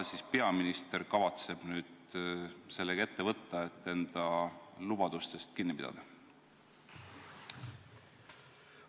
Mida peaminister kavatseb nüüd ette võtta, et enda lubadustest kinni pidada?